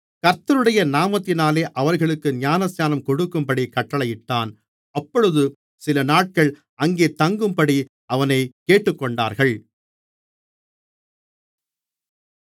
கர்த்தருடைய நாமத்தினாலே அவர்களுக்கு ஞானஸ்நானம் கொடுக்கும்படிக் கட்டளையிட்டான் அப்பொழுது சிலநாட்கள் அங்கே தங்கும்படி அவனைக் கேட்டுக்கொண்டார்கள்